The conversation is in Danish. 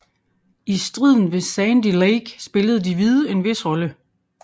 I striden ved Sandy Lake spillede de hvide en vis rolle